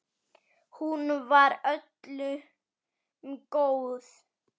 Hún var öllum góð.